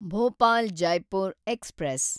Bhopal Jaipur express